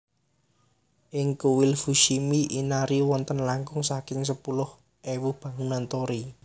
IngKuil Fushimi Inari wonten langkung saking sepuluh ewu bangunan torii